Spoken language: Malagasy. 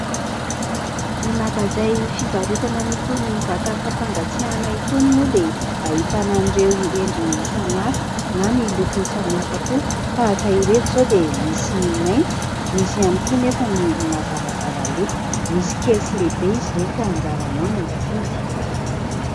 Ny magazay fivarotana an'itony vata fampangatsiahana itony moa dia ahitana an'ireo endriny samy hafa na ny lokony samy hafa koa. Tahaka ireto izao dia misy mainty, misy ihany koa anefa ny mazavazava loko. Misy kely sy lehibe izy ireny ka anjaranao no mifidy